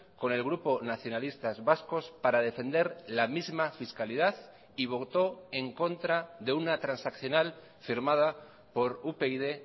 con el grupo nacionalistas vascos para defender la misma fiscalidad y votó en contra de una transaccional firmada por upyd